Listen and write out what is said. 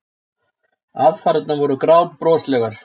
Aðfarirnar voru grátbroslegar.